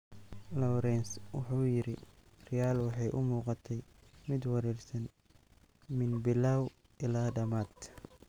Laurens wuxuu yiri, Real waxay u muuqatay mid wareersan min bilow ilaa dhamaad.